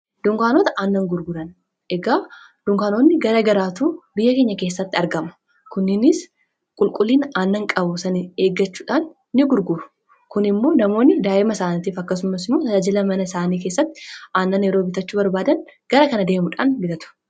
dunkaanota aannan gurguran egaa dunkaanoonni gara garaatu biyya keenya keessatti argamu kunninis qulqullina aannan qabu sani eeggachuudhaan ni gurguuru. kun immoo namoonni daa'ima isaaniitiif akkasummas immoo tajaajila mana isaanii keessatti aannan yeroo bitachuu barbaadan gara kana deemudhaan bitatu.